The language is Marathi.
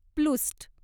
प्लूस्ट